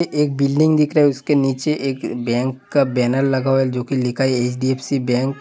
एक बिल्डिंग दिख रहा है उसके नीचे एक बैंक का बैनर लगा हुआ है जो कि लिखा है एच.डी.एफ.सी.बैंक